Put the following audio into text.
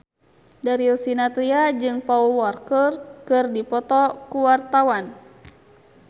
Darius Sinathrya jeung Paul Walker keur dipoto ku wartawan